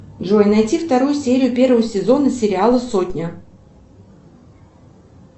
джой найти вторую серию первого сезона сериала сотня